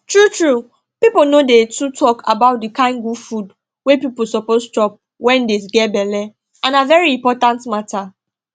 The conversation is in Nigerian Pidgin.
true true people no dey too talk about the kind good food wey people suppose chop wen dey get belle and na very important matter